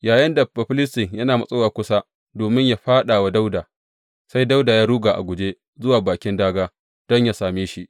Yayinda Bafilistin yana matsowa kusa domin yă fāɗa wa Dawuda, sai Dawuda ya ruga a guje zuwa bakin dāgā don yă same shi.